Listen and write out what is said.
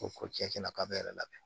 Ko ko cɛn na k'a bɛ ne yɛrɛ lamɛn